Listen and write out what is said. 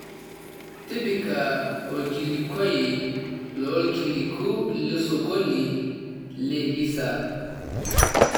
tipika orkilikuai loorkiliku losokoni le hisa